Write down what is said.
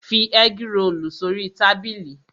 Fi ẹ́grolù sórí tábìlì!